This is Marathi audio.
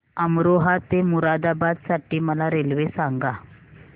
अमरोहा ते मुरादाबाद साठी मला रेल्वे सांगा